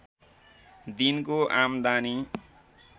दिनको आम्दानी